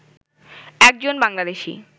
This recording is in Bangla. একজন বাংলাদেশি